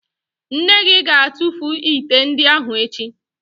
Nne gị ga-atụfu ite ndị ahụ echi